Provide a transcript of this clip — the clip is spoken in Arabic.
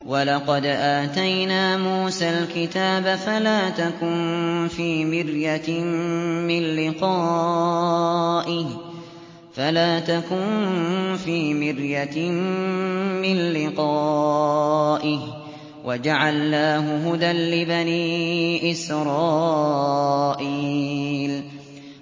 وَلَقَدْ آتَيْنَا مُوسَى الْكِتَابَ فَلَا تَكُن فِي مِرْيَةٍ مِّن لِّقَائِهِ ۖ وَجَعَلْنَاهُ هُدًى لِّبَنِي إِسْرَائِيلَ